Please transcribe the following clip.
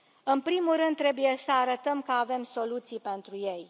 În primul rând, trebuie să arătăm că avem soluții pentru ei.